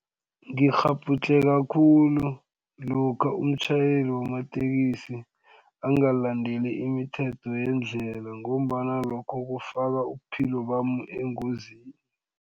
Ngikghabhudlheka khulu lokha umtjhayeli wamatekisi angalandeli imithetho yendlela ngombana lokho kufaka ubuphilo bami engozini.